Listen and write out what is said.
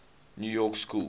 new york school